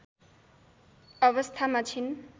अवस्थामा छिन्